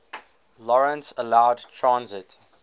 lawrence allowed transit